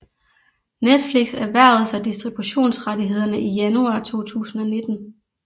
Netflix erhvervede sig distributionsrettighederne i januar 2019